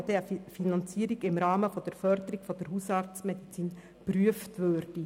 Die GEF würde dann eine Finanzierung im Rahmen der Förderung der Hausarztmedizin prüfen.